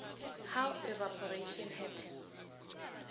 how evaporation happens